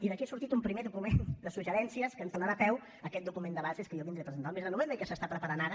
i d’aquí ha sortit un primer document de suggeriments que ens donarà peu a aquest document de bases que jo vindré a presentar el mes de novembre i que s’està preparant ara